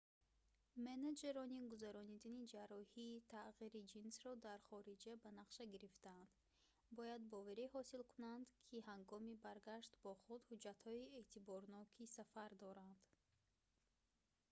менеҷерони гузарондани ҷарроҳии тағйири ҷинсро дар хориҷа ба нақша гирифтаанд бояд боварӣ ҳосил кунанд ки ҳангоми баргашт бо худ ҳуҷҷатҳои эътиборноки сафар доранд